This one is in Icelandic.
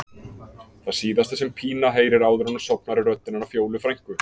Það síðasta sem Pína heyrir áður en hún sofnar er röddin hennar Fjólu frænku.